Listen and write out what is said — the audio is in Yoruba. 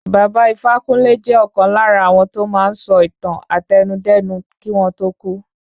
Baba Ifákúnle jẹ́ ọ̀kan lára áwọn to máa ń sọ ìtàn àtẹnudẹ́nu kí wọ́n tó kú